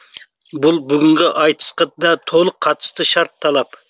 бұл бүгінгі айтысқа да толық қатысты шарт талап